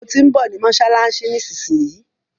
Mo tí ń bọ̀ ní mọ́ṣáláṣí nísinsìnyí.